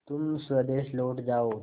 तुम स्वदेश लौट जाओ